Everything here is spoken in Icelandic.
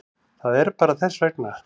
Það er bara þess vegna.